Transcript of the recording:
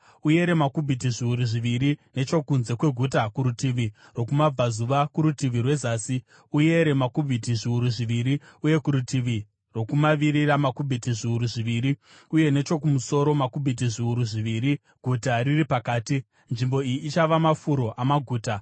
Uyere makubhiti zviuru zviviri nechokunze kweguta, kurutivi rwokumabvazuva, kurutivi rwezasi uyere makubhiti zviuru zviviri, uye kurutivi rwokumavirira makubhiti zviuru zviviri, uye nechokumusoro, makubhiti zviuru zviviri, guta riri pakati. Nzvimbo iyi ichava mafuro amaguta.